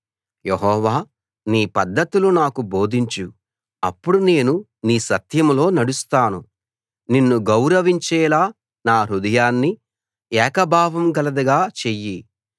యెహోవా నీ పద్ధతులు నాకు బోధించు అప్పుడు నేను నీ సత్యంలో నడుస్తాను నిన్ను గౌరవించేలా నా హృదయాన్ని ఏక భావంగలదిగా చెయ్యి